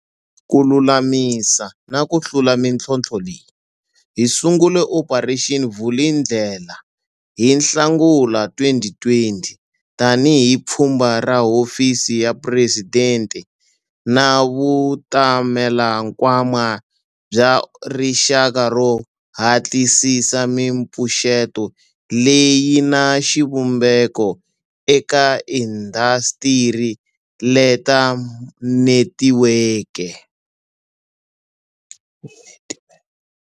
Ku lulamisa na ku hlula mitlhontlho leyi, hi sungule Operation Vulindlela hi Nhlangula 2020 tanihi pfhumba ra Hofisi ya Phuresidente na Vutamelankwama bya Rixaka ro hatlisisa mipfuxeto leyi na xivumbeko eka indasitiri leta netiweke.